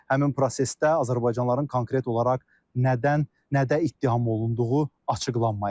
Həmin prosesdə azərbaycanlıların konkret olaraq nədən nədə ittiham olunduğu açıqlanmayıb.